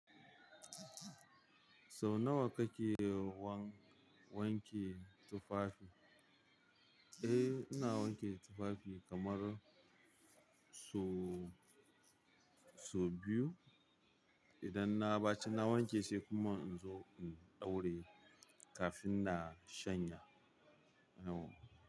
So nawa kake wan-wanke tufafi? Eh, ina wanke tufafi kamar so, so biyu. Idan na baci na wanke sai kuma in zo in ɗauraye kafin na shanya.